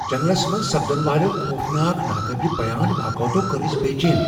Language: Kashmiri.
جنگلس منز سپدن والیو خوفناک، ناقابل بیان واقعیاتو كٕرِ اسہِ بے چین ۔